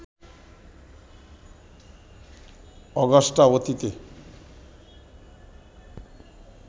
Augusta অতীতে